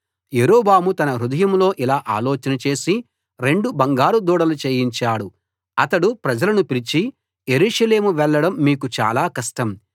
యరొబాము తన హృదయంలో ఇలా ఆలోచన చేసి రెండు బంగారు దూడలు చేయించాడు అతడు ప్రజలను పిలిచి యెరూషలేము వెళ్ళడం మీకు చాలా కష్టం